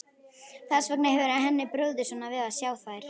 Þess vegna hefur henni brugðið svona við að sjá þær.